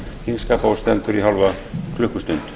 þingskapa og stendur í hálfa klukkustund